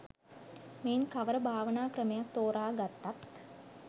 මෙයින් කවර භාවනා ක්‍රමයක් තෝරා ගත්තත්